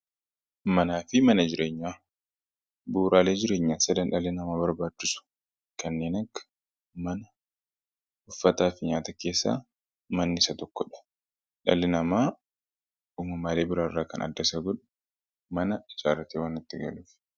manaa fi mana jireenyaa buuraalee jireenyaa sadan dhalli namaa barbaachisu kanneen akka mana uffataa fi nyaata keessa manni isa tokkodha. dhalli namaa uumamaalee biraa irraa kan adda isa godhu mana ijaarratee waan itti galuufi